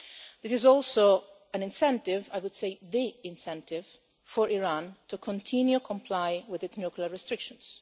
This is also an incentive, I would say the incentive, for Iran to continue to comply with its nuclear restrictions.